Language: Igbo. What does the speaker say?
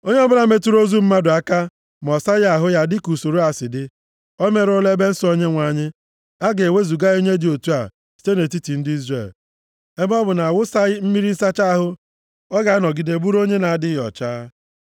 Onye ọbụla metụrụ ozu mmadụ aka ma ọ saghị ahụ ya dịka usoro a si dị, o merụọla ebe nsọ Onyenwe anyị. A ga-ewezuga onye dị otu a site nʼetiti ndị Izrel. Ebe ọ bụ na a wụsaghị ya mmiri nsacha ahụ; ọ ga-anọgide bụrụ onye na-adịghị ọcha.